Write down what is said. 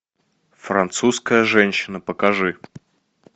французская женщина покажи